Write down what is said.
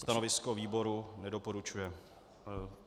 Stanovisko výboru: Nedoporučuje.